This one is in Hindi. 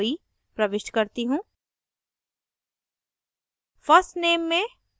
अब मैं snowy प्रविष्ट करती हूँ